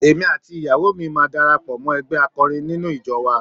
Èmi àti ìyàwó mi máa darapọ̀ mọ́ ẹgbẹ́ akọrin nínú ìjọ wa.